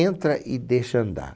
Entra e deixa andar.